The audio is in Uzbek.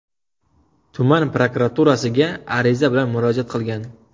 tuman prokuraturasiga ariza bilan murojaat qilgan.